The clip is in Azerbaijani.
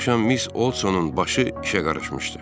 Bir axşam Miss Odsonun başı işə qarışmışdı.